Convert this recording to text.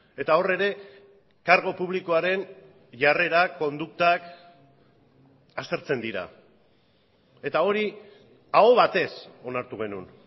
eta hor ere kargu publikoaren jarrerak konduktak aztertzen dira eta hori aho batez onartu genuen